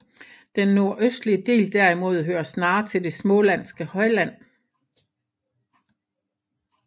Den nordøstlige del derimod hører snarere til det smålandske højland